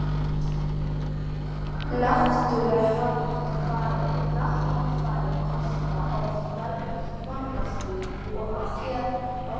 Náttúruhamfarir kosta oft mörg mannslíf og geta valdið gríðarlegu tjóni.